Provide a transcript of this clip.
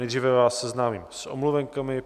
Nejdříve vás seznámím s omluvenkami.